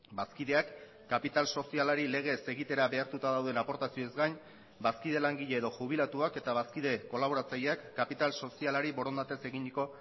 bazkideak kapital sozialari legez egitera behartuta dauden aportazioez gain bazkide langile edo jubilatuak eta bazkide kolaboratzaileak kapital sozialari borondatez eginiko